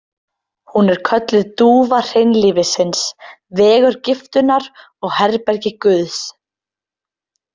Hún er kölluð dúfa hreinlífisins, vegur giftunnar og herbergi guðs